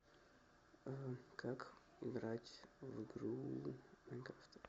как играть в игру майнкрафт